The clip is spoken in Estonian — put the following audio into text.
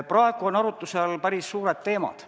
Praegu on arutluse all päris suured teemad.